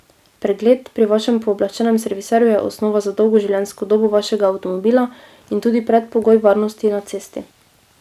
Pregled pri vašem pooblaščenem serviserju je osnova za dolgo življenjsko dobo vašega avtomobila in tudi predpogoj varnosti na cesti.